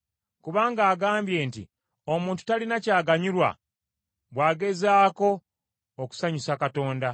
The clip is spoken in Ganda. Kubanga agambye nti, ‘Omuntu talina kyaganyulwa bw’agezaako okusanyusa Katonda.’